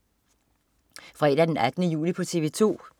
Fredag den 18. juli - TV 2: